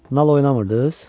Nal oynamırdız?